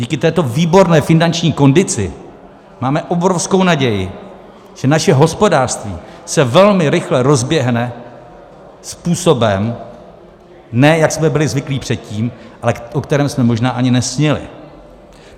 Díky této výborné finanční kondici máme obrovskou naději, že naše hospodářství se velmi rychle rozběhne způsobem, ne jak jsme byli zvyklí předtím, ale o kterém jsme možná ani nesnili.